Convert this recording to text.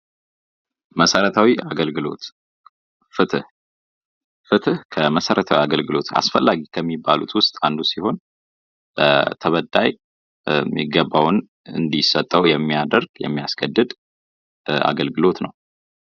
መሠረታዊ አገልግሎት፦ ፍትህ ፍትህ ከመሠረታዊ አገልልግሎት አስፈላጊ ከሚባሉት ውስጥ አንዱ ሲሆን ለተበዳይ የሚገባውን እንዲሰጠው የሚያደርግ የሚያስገድድ አገልግሎት ነው።